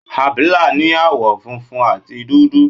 Abila ní àwọ̀ funfun àti dúdú.